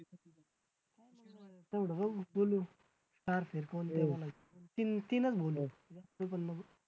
तेवढं बघून बोलू तीन तीनच